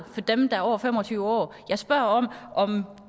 for dem der er over fem og tyve år jeg spørger om